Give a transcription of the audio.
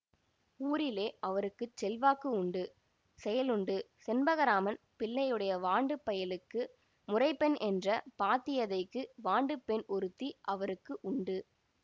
ஊரிலே அவருக்கு செல்வாக்கு உண்டு செயலுண்டு செண்பகராமன் பிள்ளையுடைய வாண்டுப் பயலுக்கு முறைப்பெண் என்ற பாத்தியதைக்கு வாண்டுப் பெண் ஒருத்தி அவருக்கு உண்டு